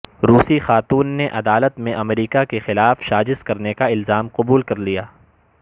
روسی خاتون نے عدالت میں امریکہ کے خلاف سازش کرنے کا الزام قبول کر لیا